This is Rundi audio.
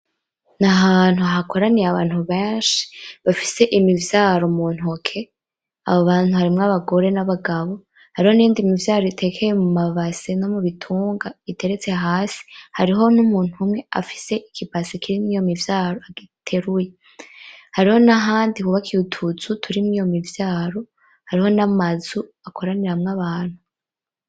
N'ahantu hakoraniye abantu benshi bafise imivyaro mu ntoke, abo bantu harimwo abagore n'abagabo hariho n'iyindi mivyaro itekeye mu mabase no mu bitunga iteretse hasi, hariho n'umuntu umwe afise ikibase kirimwo iyo mivyaro agiteruye. Hariho n'ahandi hubakiye utuzu turimwo iyo mivyaro n'amazu akoranira abantu.